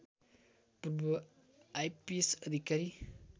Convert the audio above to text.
पूर्व आएपीएस अधिकारी